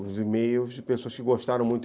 os e-mails de pessoas que gostaram muito.